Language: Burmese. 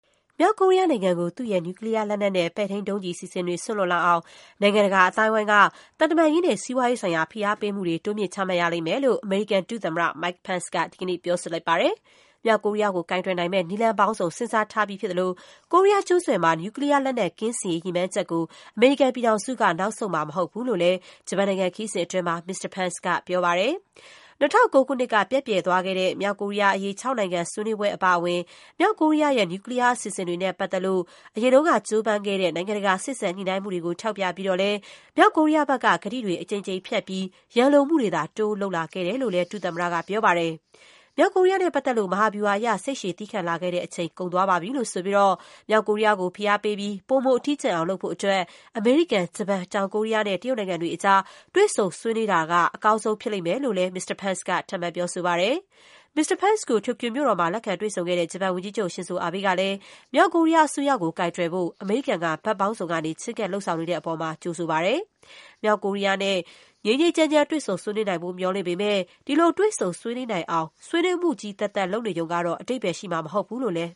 မြောက်ကိုရီးယားနိုင်ငံကို သူ့ရဲ့ နျူကလီးယားလက်နက် နဲ့ ပဲ့ထိန်းဒုံးကျည်အစီအစဉ်တွေ စွန့်လွှတ်လာအောင် နိုင်ငံတကာအသိုင်းအဝိုင်း အနေနဲ့ သံတမန်ရေးနဲ့ စီးပွားရေးဆိုင်ရာ ဖိအားပေးမှုတွေ လုပ်သွားရလိမ့်မယ်လို့ အမေရိကန်ဒုသမ္မတ Mike Pence က ဒီကနေ့ ပြောဆိုလိုက်ပါတယ်။ မြောက်ကိုရီးယားကို ကိုင်တွယ်နိုင်မယ့် နည်းလမ်းပေါင်းစုံ စဉ်းစားထားပြီးဖြစ်သလို၊ ကိုရီးယားကျွန်းဆွယ်မှာ နျူကလီးယားလက်နက် ကင်းစင်ရေး ရည်မှန်းချက်ကို အမေရိကန်ပြည်ထောင်စုက နောက်ဆုတ်မှာမဟုတ်ဘူးလို့လည်း ဂျပန်နိုင်ငံ ခရီးစဉ်အတွင်း မစ္စတာ Pence က ပြောပါတယ်။ ၂၀၀၉ ခုနှစ်က ပျက်ပြယ်သွားခဲ့တဲ့ မြောက်ကိုရီးယားအရေး ခြောက်နိုင်ငံ ဆွေးနွေးပွဲ အပါအဝင် မြောက်ကိုရီးယားရဲ့ နျူကလီးယား အစီအစဉ်တွေနဲ့ပတ်သက်လို့ အရင်ကကြိုးပမ်းခဲ့ကြတဲ့ နိုင်ငံတကာ စေ့စပ်ညှိနှိုင်းမှုတွေကို ထောက်ပြပြီးတော့လည်း မြောက်ကိုရီးယားဘက်က ကတိတွေ အကြိမ်ကြိမ်ဖျက်ပြီး ရန်လိုမှုတွေသာ တိုးလုပ် ဆောင်လာခဲ့တယ်လို့လည်း ဒုသမ္မတ Pence က ပြောပါတယ်။ မြောက်ကိုရီးယားနဲ့ပတ်သက်လို့ မဟာဗျူဟာအရ စိတ်ရှည်သည်းခံလာခဲ့တဲ့အချိန် ကုန်သွားပါပြီလို့ ဆိုပြီး မြောက်ကိုရီးယားကို ဖိအားပေးပြီး ပိုမို အထီးကျန်အောင် လုပ်ဖို့အတွက် အမေရိကန်၊ ဂျပန်၊ တောင်ကိုရီးယားနဲ့ တရုတ်နိုင်ငံတွေကြား တွေ့ဆုံဆွေးနွေးသွားတာက အကောင်းဆုံး ဖြစ်လိမ့်မယ်လို့လည်း မစ္စတာ Pence က ထပ်မံ ပြောသွားပါတယ်။ မစ္စတာ Pence ကို တိုကျိုမြို့တော်မှာ လက်ခံ တွေ့ဆုံခဲ့တဲ့ ဂျပန်ဝန်ကြီးချုပ် ရှင်ဇိုအာဘေးကလည်း - မြောက်ကိုရီးယားအစိုးရကို ကိုင်တွယ်ဖို့ အမေရိကန်က ဘက်ပေါင်းစုံကနေ ချဉ်းကပ် လုပ်ဆောင်နေတဲ့အပေါ် ကြိုဆိုပါတယ်။ မြောက်ကိုရီးယားနဲ့ ငြိမ်းငြိမ်းချမ်းချမ်း တွေ့ဆုံဆွေးနွေးနိုင်ဖို့ မျှော်လင့်ပေမဲ့ ဒီလို တွေ့ဆုံ ဆွေးနွေးနိုင်အောင် ဆွေးနွေးမှုတွေ သက်သက်လုပ်နေရုံကတော့ အဓိပ္ပါယ်ရှိမှာ မဟုတ်ဘူးလို့လည်း